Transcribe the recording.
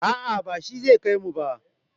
a'a ba shi zai kaimu ba